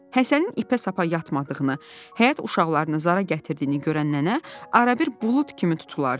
Həsənin ipə-sapa yatmadığını, həyət uşaqlarını zara gətirdiyini görən nənə ara-bir bulud kimi tutulardı.